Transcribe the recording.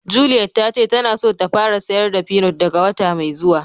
Juliette ta ce ta na so ta fara sayar da peanut daga wota mai zuwa.